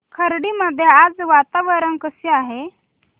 खर्डी मध्ये आज वातावरण कसे आहे